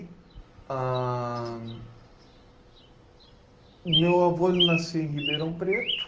Ahn, o meu avô ele nasceu em Ribeirão Preto.